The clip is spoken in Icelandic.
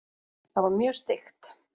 Það var mjög steikt.